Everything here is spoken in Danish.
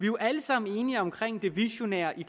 jo alle sammen enige om det visionære i